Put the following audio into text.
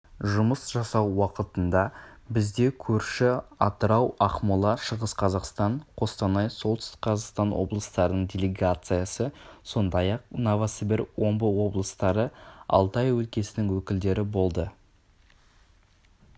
жұмыс жасау уақытында бізде көрші атырау ақмола шығыс-қазақстан қостанай солтүстік-қазақстан облыстарының делегациясы сондай-ақ новосібір омбы облыстары алтай өлкесінің өкілдері болды